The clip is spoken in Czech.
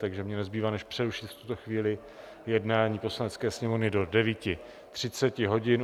Takže mně nezbývá než přerušit v tuto chvíli jednání Poslanecké sněmovny do 9.30 hodin.